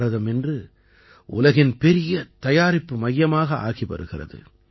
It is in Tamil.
பாரதம் இன்று உலகின் பெரிய தயாரிப்பு மையமாக ஆகி வருகிறது